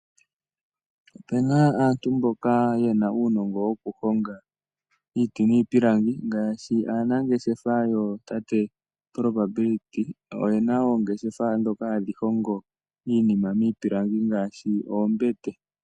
Opena aantu mboka yena uunongo wokuhonga iiti niipilangi ngaashi, aanangeshefa yootate Probability oyena oongeshefa dhoka hadhi hongo iinima miipilangi ngaashi oombete.